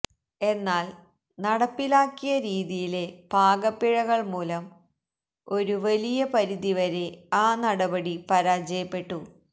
എന്നാല് നടപ്പിലാക്കിയ രീതിയിലെ പാകപ്പിഴകള് മൂലം ഒരു വലിയ പരിധിവരെ ആ നടപടി പരാജയപ്പെട്ടു